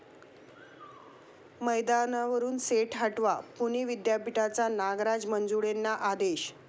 मैदानावरून सेट हटवा, पुणे विद्यापीठाचा नागराज मंजुळेंना आदेश